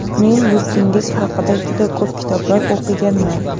Men yurtingiz haqida juda ko‘p kitoblar o‘qiganman.